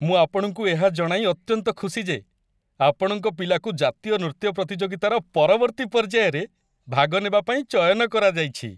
ମୁଁ ଆପଣଙ୍କୁ ଏହା ଜଣାଇ ଅତ୍ୟନ୍ତ ଖୁସି ଯେ ଆପଣଙ୍କ ପିଲାକୁ ଜାତୀୟ ନୃତ୍ୟ ପ୍ରତିଯୋଗିତାର ପରବର୍ତ୍ତୀ ପର୍ଯ୍ୟାୟରେ ଭାଗ ନେବା ପାଇଁ ଚୟନ କରାଯାଇଛି।